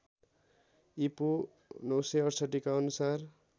ईपू ९६८ का अनुसार